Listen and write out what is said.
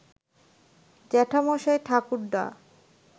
জ্যাঠামশাই ঠাকুরদা